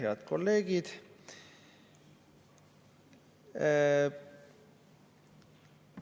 Head kolleegid!